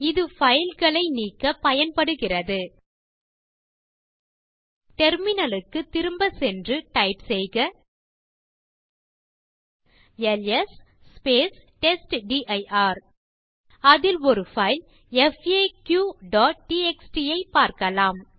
இது பைல் களை நீக்கப் பயன்படுகிறது டெர்மினல் க்கு திரும்பச் சென்று டைப் செய்க எல்எஸ் டெஸ்ட்டிர் அதில் ஒரு பைல் faqடிஎக்ஸ்டி ஐப் பார்க்கலாம்